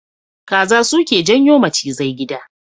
Kaza suke janyo macizai a gida.